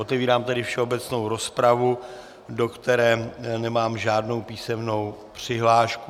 Otevírám tedy všeobecnou rozpravu, do které nemám žádnou písemnou přihlášku.